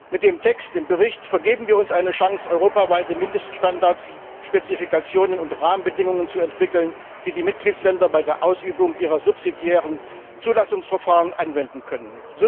Mit dem Text im Bericht vergeben wir uns eine Chance, europaweite Mindeststandards, Spezifikationen und Rahmenbedingungen zu entwickeln, die die Mitgliedstaaten bei der Ausübung ihrer subsidiären Zulassungsverfahren anwenden können.